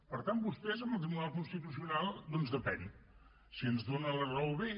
per tant vostès amb el tribunal constitucional doncs depèn si ens donen la raó bé